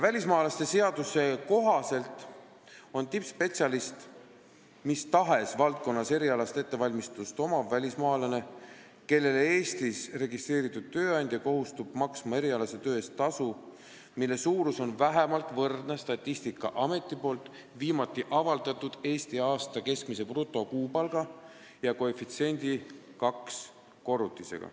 Välismaalaste seaduse kohaselt on tippspetsialist mis tahes valdkonnas erialast ettevalmistust omav välismaalane, kellele Eestis registreeritud tööandja kohustub maksma erialase töö eest tasu, mille suurus on vähemalt võrdne Statistikaameti viimati avaldatud Eesti aasta keskmise brutokuupalga ja koefitsiendi 2 korrutisega.